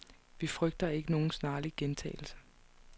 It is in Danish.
Vi frygter ikke nogen snarlig gentagelse.